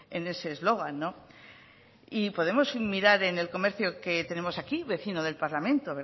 en ese eslogan podemos mirar en el comercio que tenemos aquí vecino del parlamento